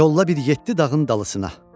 Yolla bir yeddi dağın dalısına.